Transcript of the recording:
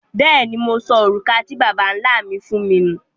Bẹ́ẹ̀ni, Mo sọ orúkà tí Babá-nlá mi fún mi nú.